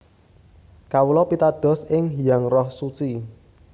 Kawula pitados ing Hyang Roh Suci